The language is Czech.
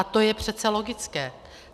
A to je přece logické.